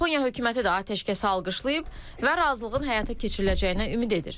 Yaponiya hökuməti də atəşkəsi alqışlayıb və razılığın həyata keçiriləcəyinə ümid edir.